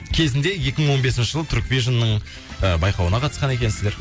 кезінде екі мың он бесінші жылы турквижнның ы байқауына қатысқан екенсіздер